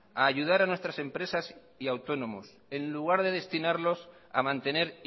a ayudar a nuestras empresas y autónomos en lugar de destinarlos a mantener